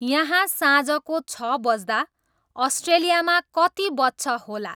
यहाँ साझको छ बज्दा अस्ट्रेलियामा कति बज्छ होला